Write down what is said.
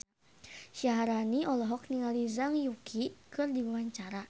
Syaharani olohok ningali Zhang Yuqi keur diwawancara